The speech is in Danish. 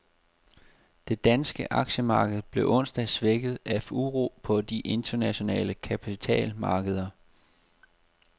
Det danske aktiemarked blev onsdag svækket af uro på de internationale kapitalmarkeder.